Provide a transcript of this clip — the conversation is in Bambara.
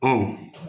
Ɔ